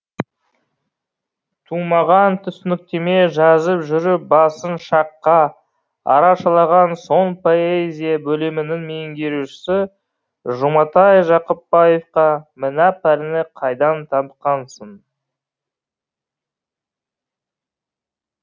тұмағаң түсініктеме жазып жүріп басын шаққа арашалаған соң поэзия бөлімінің меңгерушісі жұматай жақыпбаевқа мына пәлені қайдан тапқансың